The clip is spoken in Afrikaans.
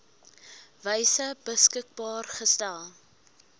wyse beskikbaar gestel